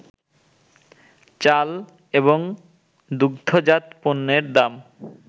চাল এবং দুগ্ধজাত পণ্যের দাম